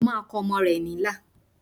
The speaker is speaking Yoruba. Mo máa kọ ọmọ rẹ̀ ní ilà